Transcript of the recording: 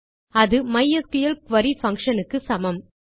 அது மைஸ்கிள் குரி பங்ஷன் க்கு சமம்